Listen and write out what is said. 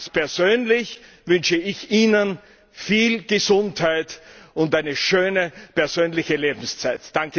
Ganz persönlich wünsche ich Ihnen viel Gesundheit und eine schöne persönliche Lebenszeit!